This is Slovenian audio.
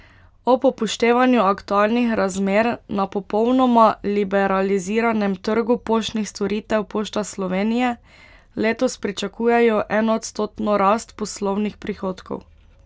Ob upoštevanju aktualnih razmer na popolnoma liberaliziranem trgu poštnih storitev Pošta Slovenije letos pričakujejo enoodstotno rast poslovnih prihodkov.